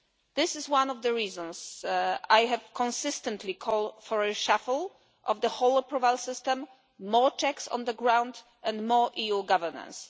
This is one of the reasons I have consistently called for a reshuffle of the whole approval system, more checks on the ground and more EU governance.